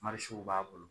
b'a bolo